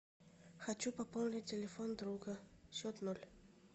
хочу пополнить телефон друга счет ноль